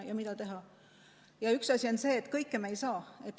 Aga üks tõsiasi on see, et kõike me ei saa.